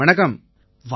வணக்கம் ஐயா